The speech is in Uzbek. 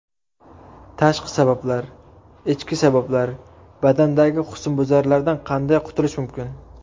Tashqi sabablar: Ichki sabablar: Badandagi husnbuzarlardan qanday qutulish mumkin?